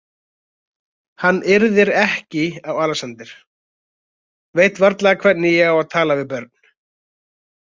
Hann yrðir ekki á Alexander, veit varla hvernig á að tala við börn.